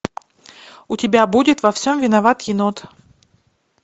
у тебя будет во всем виноват енот